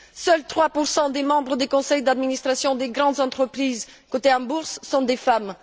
Seuls 3 des membres des conseils d'administration des grandes entreprises cotées en bourse sont des femmes.